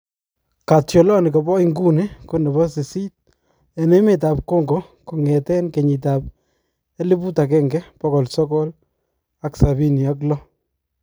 katyolani kapo inguni konepo sisiit en emeet ap kongo kongeten kenyitap eliput agenge pogol sogool ak sabiini ak low